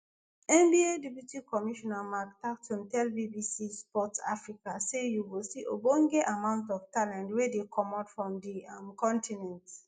nba deputy commissioner mark tatum tell bbc sport africa say "you go see ogbonge amount of talent wey dey comot from di um continent.